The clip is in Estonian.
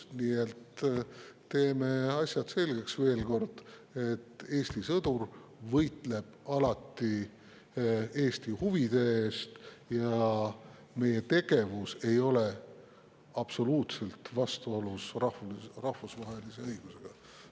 Nii et teeme asjad selgeks, veel kord: Eesti sõdur võitleb alati Eesti huvide eest ja meie tegevus ei ole üldse vastuolus rahvusvahelise õigusega.